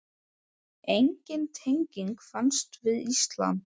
Engin tenging fannst við Ísland.